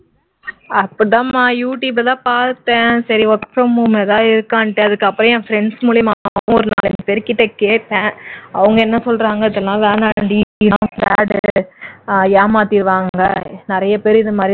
அப்படி தாம்மா youtube ல தான் பார்த்தேன் சரி work from home ஏதாவது இருக்கான்னு அதுக்கப்புறம் என் friends மூலமாவும் ஒரு நாலஞ்சு பேரு கிட்ட கேட்டேன் அவங்க என்ன சொல்றாங்கன்னா அதுல வேணாண்டி அதெல்லாம் பேட் ஏமாத்திடுவாங்க நிறைய பேர் இந்த மாதிரி